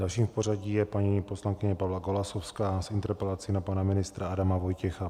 Další v pořadí je paní poslankyně Pavla Golasowská s interpelací na pana ministra Adama Vojtěcha.